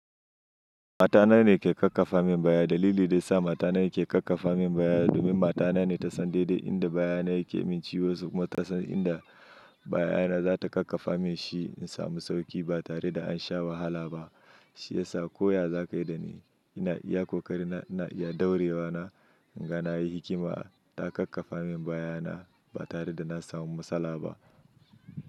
Matana ne ke kakkafa min bayani. Dalili da ya sa matana ke kakkafa min bayani domin matana ne ta san daidai inda bayana yake min ciwo. Kuma ta san inda bayana za ta kakkafa min shi in samu sauƙi ba tare da an sha wahala ba. Shi ya sa koya zaƙai da na iya kokari na ya ɗore wa na. Idan nayi likima na kakafa mai bayana ba tare da zan samu matsala ba.